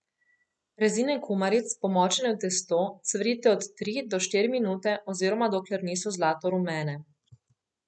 Rezine kumaric, pomočene v testo, cvrite od tri do štiri minute oziroma dokler niso zlatorumene.